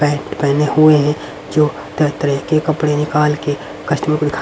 pant पहने हुए है जो तरह-तरह के कपड़े निकाल के कस्टमर को दिखा --